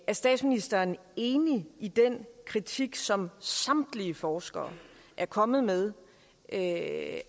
statsministeren enig i den kritik som samtlige forskere er kommet med af